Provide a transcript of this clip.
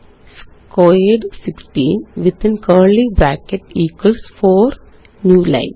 sqrt 16 within curly brackets equals 4 new line